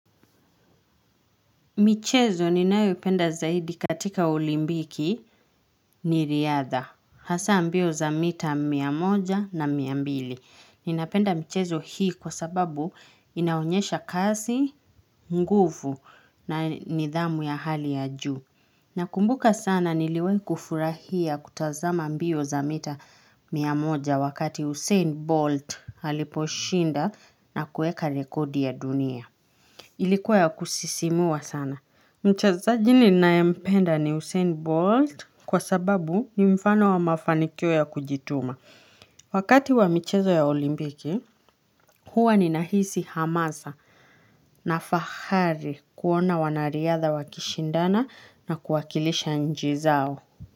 Michezo ni nayo ipenda zaidi katika olimpiki ni riadha. Hasa ambio za mita miamoja na miambili. Ninapenda michezo hii kwa sababu inaonyesha kasi, nguvu na nidhamu ya hali ya juu. Na kumbuka sana niliwai kufurahia kutazama ambio za mita miamoja wakati Usen Bolt haliposhinda na kueka rekodi ya dunia. Ilikuwa ya kusisimua sana. Mchazaji ninae mpenda ni Usen Bolt kwa sababu ni mfano wa mafanikyo ya kujituma. Wakati wa michezo ya olimpiki, huwa ni nahisi hamasa na fahari kuona wanariadha wakishindana na kuwakilisha nchi izao.